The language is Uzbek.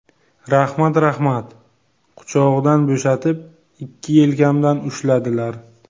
Rahmat, rahmat, quchog‘idan bo‘shatib, ikki yelkamdan ushladilar.